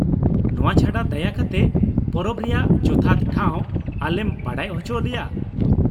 ᱱᱚᱶᱟ ᱪᱷᱟᱰᱟ ᱫᱟᱭᱟ ᱠᱟᱛᱮ ᱯᱚᱨᱚᱵᱽ ᱨᱮᱭᱟᱜ ᱡᱚᱛᱷᱟᱛ ᱴᱷᱟᱶ ᱟᱞᱮᱢ ᱵᱟᱰᱟᱭ ᱚᱪᱚ ᱞᱮᱭᱟ ᱾